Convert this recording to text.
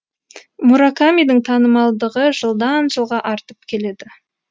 муракамидің танымалдығы жылдан жылға артып келеді